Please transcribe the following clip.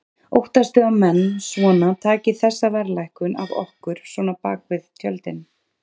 Óttastu að menn svona taki þessa verðlækkun af okkur svona bakvið tjöldin?